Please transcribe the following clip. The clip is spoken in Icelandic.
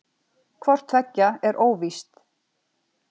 hvort tveggja er óvíst